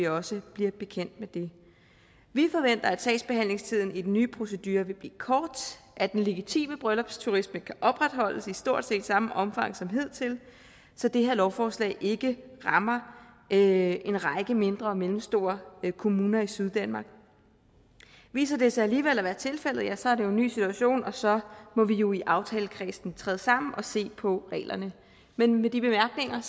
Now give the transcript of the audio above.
også bliver bekendt med det vi forventer at sagsbehandlingstiden i den nye procedure vil blive kort og at den legitime bryllupsturisme kan opretholdes i stort set samme omfang som hidtil så det her lovforslag ikke rammer en række mindre og mellemstore kommuner i syddanmark viser det sig alligevel at være tilfældet ja så er det jo en ny situation og så må vi jo i aftalekredsen træde sammen og se på reglerne men med de bemærkninger